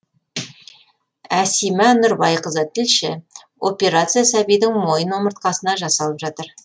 әсима нұрбайқызы тілші операция сәбидің мойын омыртқасына жасалып жатыр